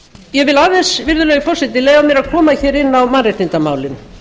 ég vil aðeins virðulegi forseti leyfa mér að koma hér inn á mannréttindamálin